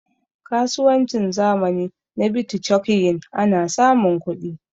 kasuwancin zamani na bitcokyin ana samun kudi